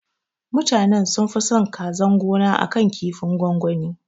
Mutanan sunfi son kazan gona akan kinfin gwangwani